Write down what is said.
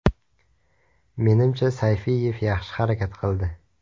Menimcha Sayfiyev yaxshi harakat qildi.